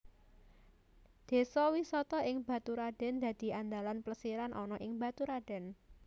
Désa wisata ing Baturadèn dadi andalan plesiran ana ing Baturadèn